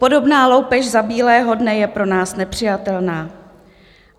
Podobná loupež za bílého dne je pro nás nepřijatelná.